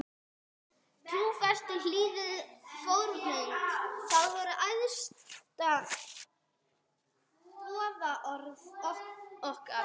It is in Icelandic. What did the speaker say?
Trúfesti, hlýðni, fórnarlund, það voru æðstu boðorð okkar.